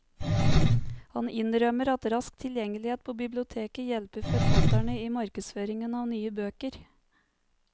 Han innrømmer at rask tilgjengelighet på biblioteket hjelper forfatterne i markedsføringen av nye bøker.